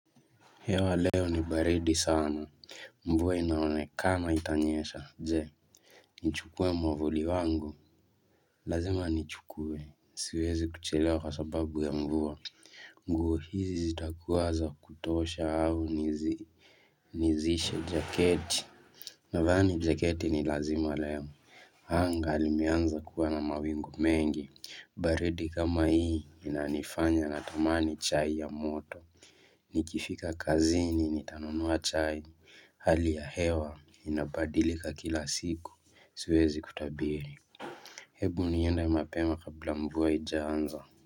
Hewa leo ni baridi sana mvua inaonekana itanyesha je nichukue mwavuli wangu lazima nichukue siwezi kuchelewa kwa sababu ya mvua nguo hizi zitakuwa zakutosha au nizi nizishe jaketi? Nadhani jaketi ni lazima leo anga limeanza kuwa na mawingu mengi baridi kama hii inanifanya natamani chai ya moto Nikifika kazini, nitanunua chai, hali ya hewa inabadilika kila siku, siwezi kutabiri. Hebu niende mapema kabla mvua haijaanza.